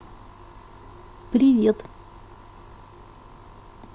привет